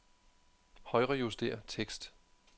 Højrejuster tekst.